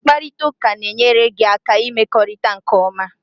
Mkparịta ụka na-enyere gị aka ịmekọrịta nke ọma